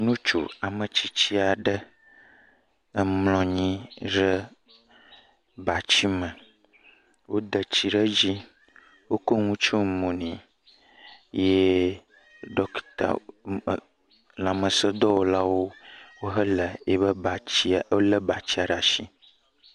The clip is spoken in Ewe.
Nutsu ame tsitsi ɖe emlɔ nyi ɖe batsime. Wode tsi ɖe edzi, wokɔ nu tsyɔ mo nɛ yee ɖɔkita, lãmesẽdɔwɔlawo wohele eƒe batsia, wolé batsia ɖe ashi.